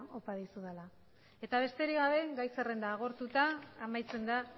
opa dizudala eta besterik gabe gai zerrenda agortuta amaitzen da